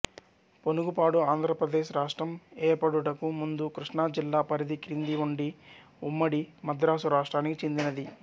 పొనుగుపాడు ఆంధ్రప్రదేశ్ రాష్ట్రం ఏర్పడుటకు ముందు కిష్ణా జిల్లా పరిధి క్రింద ఉండి ఉమ్మడి మద్రాసు రాష్ట్రానికి చెందినది